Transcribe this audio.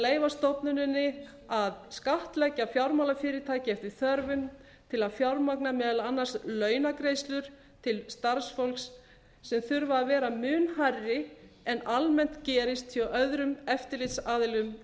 leyfa stofnuninni að skattleggja fjármálafyrirtæki eftir þörfum til að fjármagna meðal annars launagreiðslur til starfsfólk sem þurfa að vera mun hærri en almennt gerist hjá öðrum eftirlitsaðilum